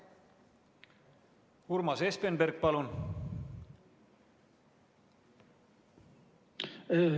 Urmas Espenberg, palun!